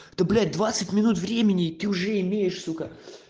да блять двадцать минут времени ты уже имеешь сука